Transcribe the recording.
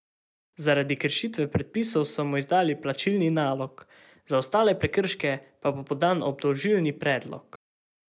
Zaradi kršitve predpisov so mu izdali plačilni nalog, za ostale prekrške pa bo podan obdolžilni predlog.